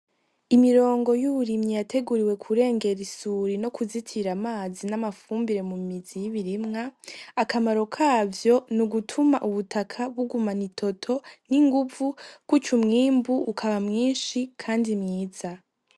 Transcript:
Imirongo y'uburimyi yateguriwe kurengera isuri no kuzitira amazi n'amafumbire mu mizi y'ibirimwa. Akamaro kavyo ni ugutuma ubutaka bugumana itoto n'inguvu, kuryo umwimbu ukaba mwinshi kandi mwiza.